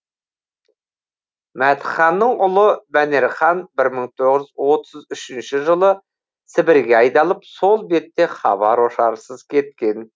мәтіханның ұлы мәнерхан бір мың тоғыз жүз отыз үшінші жылы сібірге айдалып сол бетте хабар ошарсыз кеткен